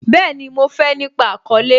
Bẹẹni, mo fé nípa àkọ́lẹ́